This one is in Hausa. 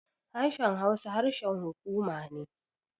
Harshen Hausa harshen hukuma ne.